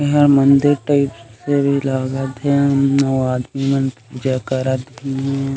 इहाँ मंदिर टाइप से भी लगत हे अऊ आदमी मन पूजा करत भी--